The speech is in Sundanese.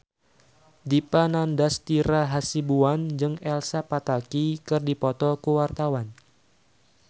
Dipa Nandastyra Hasibuan jeung Elsa Pataky keur dipoto ku wartawan